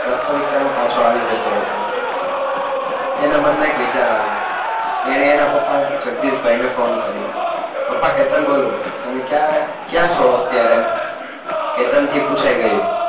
વાસ્તવિકતામાં પાછો આવી જતો હતો. એના મનમાં એક વિચાર આવ્યો. એણે એના પપ્પા જગદીશ ભાઈ ને ફોન કર્યો. પપ્પા કેતન બોલું. તમે ક્યાં છો અત્યારે? કેતન થી પૂછાઈ ગયું